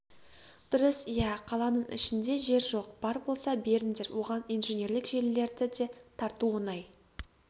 дұрыс иә қаланың ішінде жер жоқ бар болса беріңдер оған инженерлік желілерді де тарту оңай